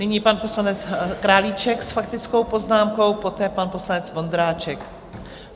Nyní pan poslanec Králíček s faktickou poznámkou, poté pan poslanec Vondráček.